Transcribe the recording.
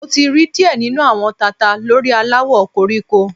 Mo ti ri diẹ ninu awọn tata lori alawọ koriko